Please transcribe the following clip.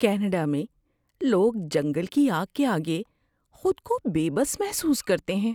Canada میں لوگ جنگل کی آگ کے آگے خود کو بے بس محسوس کرتے ہیں۔